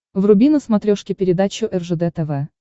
вруби на смотрешке передачу ржд тв